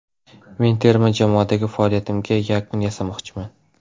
Men terma jamoadagi faoliyatimga yakun yasamoqchiman.